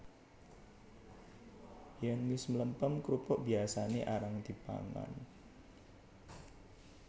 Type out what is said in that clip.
Yèn wis mlempem krupuk biyasané arang dipangan